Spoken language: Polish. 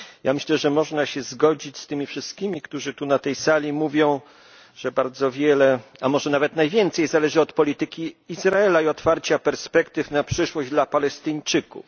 Myślę, że można się zgodzić z wszystkimi, którzy na tej sali mówią, że bardzo wiele, a może nawet najwięcej zależy od polityki Izraela i otwarcia perspektyw na przyszłość dla Palestyńczyków.